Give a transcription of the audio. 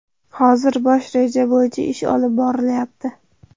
Hozir bosh reja bo‘yicha ish olib borilyapti.